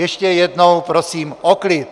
Ještě jednou prosím o klid!